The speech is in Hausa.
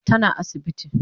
Tana asibiti